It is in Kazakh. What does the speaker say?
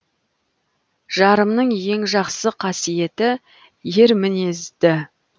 жарымның ең жақсы қасиеті ер мінезді